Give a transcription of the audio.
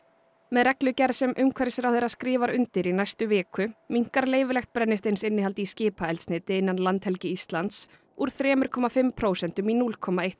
með reglugerð sem umhverfisráðherra skrifar undir í næstu viku minnkar leyfilegt brennisteinsinnihald í skipaeldsneyti innan landhelgi Íslands úr þrjú komma fimm prósentum í núll komma eitt